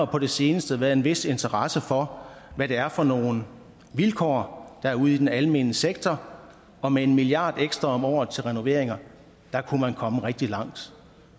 på det seneste været en vis interesse for hvad det er for nogle vilkår der er ude i den almene sektor og med en milliard ekstra om året til renoveringer kunne man komme rigtig langt